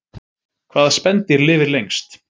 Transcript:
hvaða spendýr lifir lengst